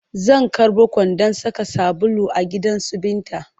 Zan karɓo kwandon saka sabulu a gidansu Binta